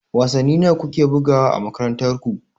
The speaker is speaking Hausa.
Wasanni nawa ku ke bugawa a makarantar ku?